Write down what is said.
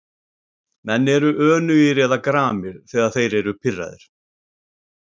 Menn eru önugir eða gramir þegar þeir eru pirraðir.